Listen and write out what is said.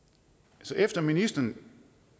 efter at ministeren